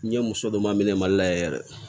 N ye muso dɔ ma minɛ mali la yɛrɛ